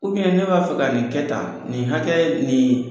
ne b'a fɛ ka nin kɛ tan, nin hakɛya in nii